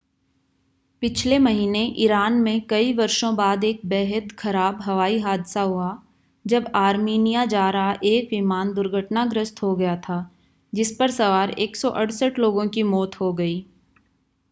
पिछले महीने ईरान में कई वर्षो बाद एक बेहद खराब हवाई हादसा हुआ जब आर्मीनिया जा रहा एक विमान दुर्घटनाग्रस्त हो गया था जिस पर सवार 168 लोगों की मौत हो गयी